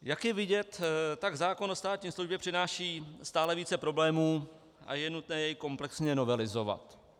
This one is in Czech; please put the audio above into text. Jak je vidět, tak zákon o státní službě přináší stále více problémů a je nutné jej komplexně novelizovat.